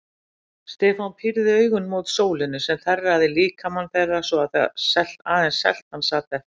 Stefán pírði augun mót sólinni sem þerraði líkama þeirra svo að aðeins seltan sat eftir.